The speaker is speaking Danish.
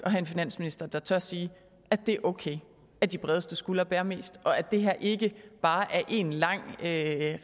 have en finansminister der tør sige at det er okay at de bredeste skuldre bærer mest og at det her ikke bare er én lang